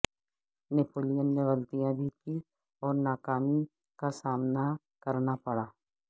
Napoleon نے غلطیاں بھی کیں اور ناکامی کا سامنا کرنا پڑا